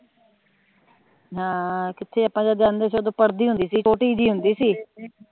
ਹਮ ਕਿਥੇ ਆਪਾ ਜਾਂਦੇ ਸੀ ਓਦੋ ਪੜ੍ਹਦੀ ਹੁੰਦੀ ਸੀ ਛੋਟੀ ਜੀ ਹੁੰਦੀ ਸੀ